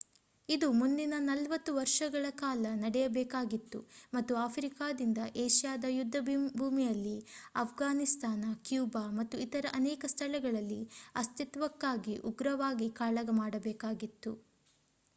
ಇದು ಮುಂದಿನ 40 ವರ್ಷಗಳ ಕಾಲ ನಡೆಯಬೇಕಾಗಿತ್ತು ಮತ್ತು ಆಫ್ರಿಕಾದಿಂದ ಏಷ್ಯಾದ ಯುದ್ಧಭೂಮಿಯಲ್ಲಿ ಅಫ್ಘಾನಿಸ್ತಾನ ಕ್ಯೂಬಾ ಮತ್ತು ಇತರ ಅನೇಕ ಸ್ಥಳಗಳಲ್ಲಿ ಅಸ್ತಿತ್ವಕ್ಕಾಗಿ ಉಗ್ರವಾಗಿ ಕಾಳಗ ಮಾಡಬೇಕಾಗಿತ್ತು